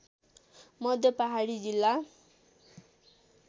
मध्य पहाडी जिल्ला